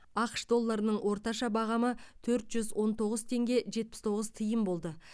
ақш доллардың орташа бағамы төрт жүз он тоғыз тенге жетпіс тоғыз тиын болды